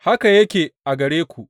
Haka yake a gare ku.